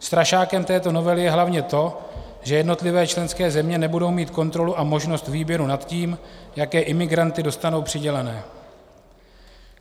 Strašákem této novely je hlavně to, že jednotlivé členské země nebudou mít kontrolu a možnost výběru nad tím, jaké imigranty dostanou přiděleny.